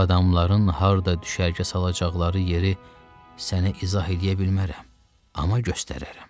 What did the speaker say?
Ağ adamların harda düşərgə salacaqları yeri sənə izah eləyə bilmərəm, amma göstərərəm.